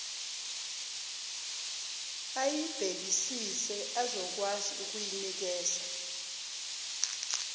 ayibhekisise azokwazi ukuyinikeza